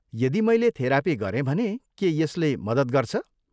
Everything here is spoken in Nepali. यदि मैले थेरापी गरेँ भने के यसले मद्दत गर्छ?